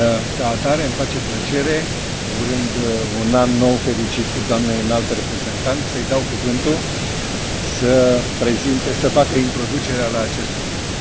Ca atare, îmi face plăcere, urând un An Nou fericit doamnei Înalt Reprezentant, să îi dau cuvântul să facă introducerea la acest subiect